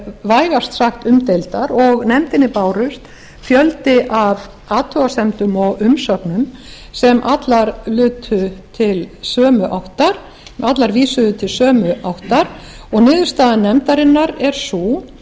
vægast sagt umdeildar og nefndinni barst fjöldi af athugasemdum og umsögnum sem allar lutu til sömu áttar allar vísuðu til sömu áttar og niðurstaða nefndarinnar er sú